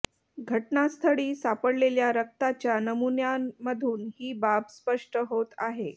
घटनास्थळी सापडलेल्या रक्ताच्या नमुन्यांमधून ही बाब स्पष्ट होत आहे